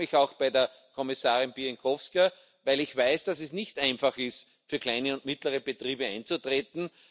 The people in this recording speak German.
Ich bedanke mich auch bei der Kommissarin Bieńkowska, weil ich weiß, dass es nicht einfach ist, für kleine und mittlere Betriebe einzutreten.